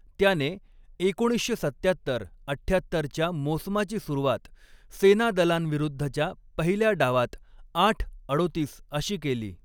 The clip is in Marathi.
त्याने एकोणीसशे सत्त्यात्तर अठ्ठ्यात्तरच्या मोसमाची सुरुवात सेनादलांविरुद्धच्या पहिल्या डावात आठ अडोतीस अशी केली.